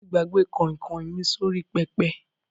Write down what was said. Mo ti gbàgbé kọ̀nkọ̀ mi sórí pẹpẹ.